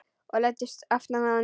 Og læddist aftan að honum.